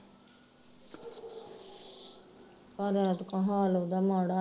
ਪਰ ਐਤਕਾ ਹਾਲ ਉਹਦਾ ਮਾੜਾ